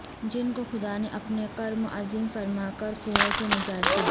جن کو خدا نے اپنا کرم عظیم فرما کر کنویں سے نجات دی